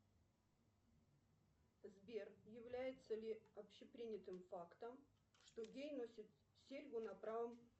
сбер является ли общепринятым фактом что гей носит серьгу на правом